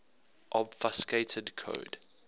obfuscated code